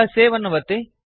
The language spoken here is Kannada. ಈಗ ಸೇವ್ ಅನ್ನು ಒತ್ತಿ